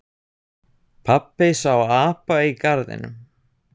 Pabbi sá apa í garðinum.